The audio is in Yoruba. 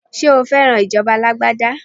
Ṣé o fẹ́ràn ìjọba alágbádá?